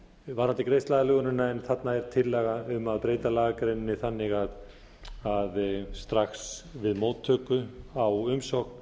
varðandi greiðsluaðlögunina en þarna er tillaga um að breyta lagagreininni þannig að strax við móttöku á umsókn